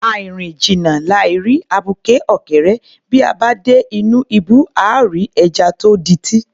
Àì rìn jìnnà, làì rí abuké ọ̀kẹ́rẹ́, bí a bá dé inú ibú, àá rí ẹja tó di’tí